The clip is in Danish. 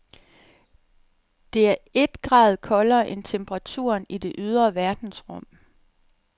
Det er et grad koldere end temperaturen i det ydre verdensrum.